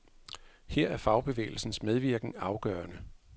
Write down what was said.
Her er fagbevægelsens medvirken afgørende.